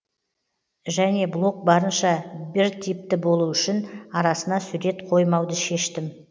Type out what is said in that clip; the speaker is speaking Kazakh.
және блог барынша біртипті болу үшін арасына сурет қоймауды шештім